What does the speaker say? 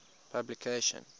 publication